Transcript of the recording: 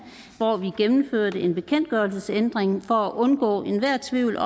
hvor vi gennemførte en bekendtgørelsesændring for at undgå enhver tvivl